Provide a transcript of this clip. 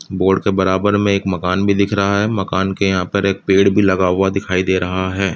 Board के बराबर में एक मकान भी दिख रहा है। मकान के यहांँ पे एक पेड़ भी लगा हुआ दिखाई दे रहा है।